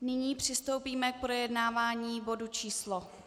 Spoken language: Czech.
Nyní přistoupíme k projednávání bodu číslo